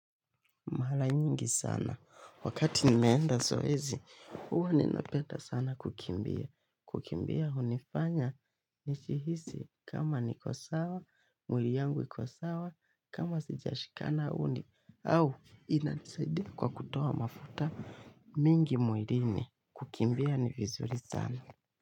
Mala nyingi sana, wakati nimeenda soezi, uwa ninapeta sana kukimbia. Kukimbia hunifanya, nishihisi kama nikosawa, mwili yangu ikosawa, kama sijashikana uni, au inanisaidia kwa kutoa mafuta mingi mwirini kukimbia ni vizuri sana.